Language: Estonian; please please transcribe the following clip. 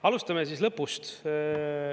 Alustame lõpust.